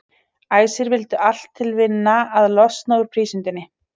Æsir vildu allt til vinna að losna úr prísundinni.